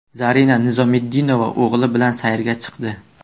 Zarina Nizomiddinova o‘g‘li bilan sayrga chiqdi.